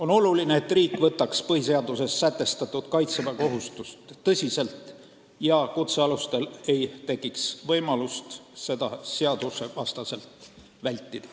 On oluline, et riik võtaks põhiseaduses sätestatud kaitseväekohustust tõsiselt ja kutsealustel ei tekiks võimalust seda seadusvastaselt vältida.